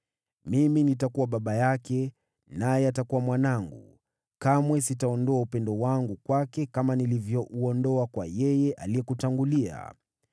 Mimi nitakuwa baba yake, naye atakuwa mwanangu. Kamwe sitaondoa upendo wangu kwake, kama nilivyouondoa kwa yeye aliyekutangulia.